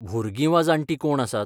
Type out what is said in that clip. भुरगीं वा जाण्टीं कोण आसात?